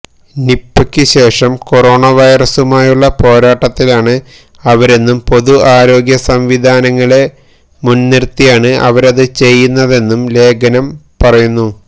നിപയ്ക്കു ശേഷം കൊറോണ വൈറസുമായുള്ള പോരാട്ടത്തിലാണ് അവരെന്നും പൊതുആരോഗ്യ സംവിധാനങ്ങളെ മുന്നിര്ത്തിയാണ് അവരത് ചെയ്യുന്നതെന്നും ലേഖനം പറയുന്നു